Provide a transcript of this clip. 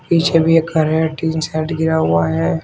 पीछे भी एक घर है टीन शेड गिरा हुआ है।